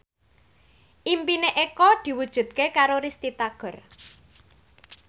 impine Eko diwujudke karo Risty Tagor